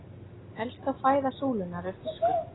Helsta fæða súlunnar er fiskur.